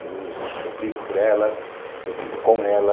Eu brigo por ela, eu brigo com ela.